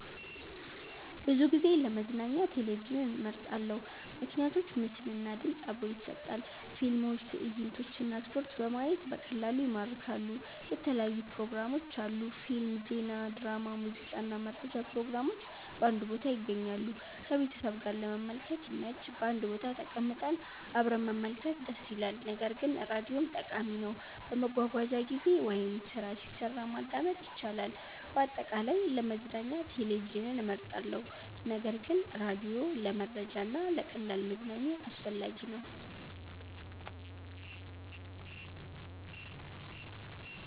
ብዙ ጊዜ ለመዝናኛ ቴሌቪዥንን እመርጣለሁ። ምክንያቶች ምስል እና ድምፅ አብሮ ይሰጣል – ፊልሞች፣ ትዕይንቶች እና ስፖርት በማየት በቀላሉ ይማርካሉ። የተለያዩ ፕሮግራሞች አሉ – ፊልም፣ ዜና፣ ድራማ፣ ሙዚቃ እና መረጃ ፕሮግራሞች በአንድ ቦታ ይገኛሉ። ከቤተሰብ ጋር ለመመልከት ይመች – በአንድ ቦታ ተቀምጠን አብረን መመልከት ደስ ይላል። ነገር ግን ራዲዮም ጠቃሚ ነው፤ በመጓጓዣ ጊዜ ወይም ስራ ሲሰራ ማዳመጥ ይቻላል። አጠቃላይ፣ ለመዝናኛ ቴሌቪዥን እመርጣለሁ ነገር ግን ራዲዮ ለመረጃ እና ለቀላል መዝናኛ አስፈላጊ ነው።